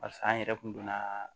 Pase an yɛrɛ kun donna